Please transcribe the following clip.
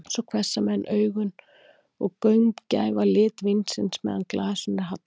Svo hvessa menn augun og gaumgæfa lit vínsins, meðan glasinu er hallað.